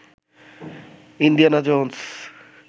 Indiana Jones